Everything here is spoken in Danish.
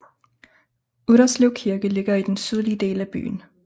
Utterslev Kirke ligger i den sydlige del af byen